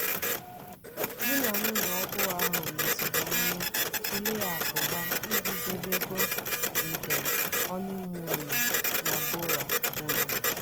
dị na nwunye ọhụụ ahụ leziri anya tulee akụ ha iji debeego njem họnịmuunu na bora bora.